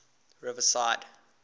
riverside